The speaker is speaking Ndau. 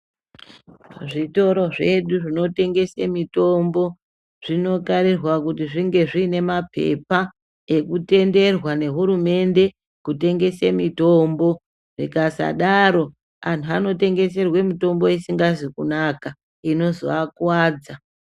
Zvitoro zvedu zvinotengesa mutombo zvinokarirwa kuti zvinge zvine nemapepa nekutenderwa nehurumende kutengese mutombo zvikasadaro antu vanotengeserwa mutombo isingazi kunaka inozovakuwadza.